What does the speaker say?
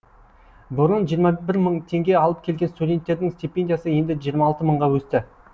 бұрын жиырма бір мың теңге алып келген студенттердің стипендиясы енді жиырма алты мыңға өсті